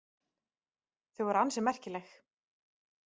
Þau voru ansi merkileg.